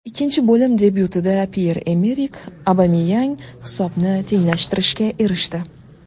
Ikkinchi bo‘lim debyutida Pyer-Emerik Obameyang hisobni tenglashtirishga erishdi.